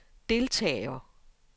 deltager